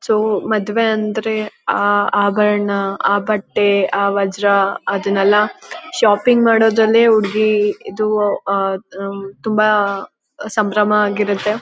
So ಮದುವೆ ಅಂದ್ರೆ ಆ ಆಭರಣ ಆ ಬಟ್ಟೆ ಆ ವಜ್ರ ಅದ್ನಾಯೆಲ್ಲಾ ಶಾಪಿಂಗ್ ಮಾಡೋದ್ರಲ್ಲೇ ಹುಡುಗಿ ಇದು ತುಂಬಾ ಸಂಭ್ರಮ ಆಗಿರುತ್ತೆ.